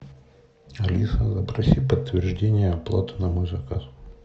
алиса запроси подтверждение оплаты на мой заказ